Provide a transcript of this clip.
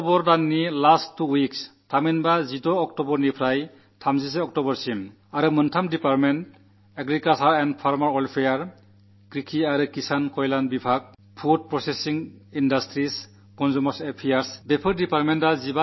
October മാസത്തിലെ അവസാന രണ്ടാഴ്ച 16 ആം തീയതി മുതൽ 31 ആം തീയതി വരെ കൃഷികർഷകക്ഷേമ മന്ത്രാലയം ഭക്ഷ്യ സംസ്കരണ വ്യവസായം ഉപഭോക്തൃ കാര്യം തുടങ്ങിയ മൂന്നു വകുപ്പുകൾകൂടി 15 ദിവസം തങ്ങളുമായി ബന്ധപ്പെട്ട മേഖലയിൽ മാലിന്യനിർമ്മാർജ്ജന മുന്നേറ്റം നടത്താൻ പോകുന്നു